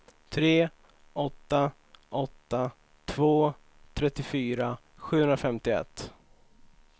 tre åtta åtta två trettiofyra sjuhundrafemtioett